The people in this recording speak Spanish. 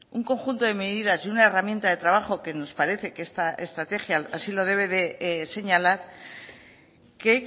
un conjunto de medidas y una herramienta de trabajo que nos parece que esta estrategia así lo debe de señalar que